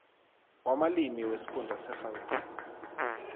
wamalimi wesifunda segauteng